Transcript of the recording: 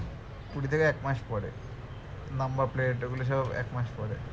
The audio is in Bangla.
কুড়ি থেকে এক মাস পরে number plate এগুলো সব এক মাস পরে